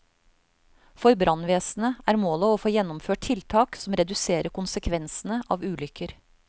For brannvesenet er målet å få gjennomført tiltak som reduserer konsekvensene av ulykker.